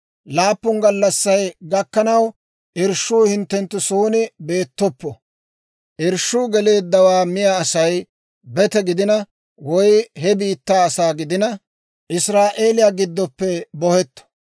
Laappun gallassay gakkanaw irshshuu hinttenttu son beettoppo; irshshuu geleeddawaa miyaa Asay bete giddina woy he biittaa asaa giddina, Israa'eeliyaa giddoppe bohetto.